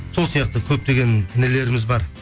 сол сияқты көптеген інілеріміз бар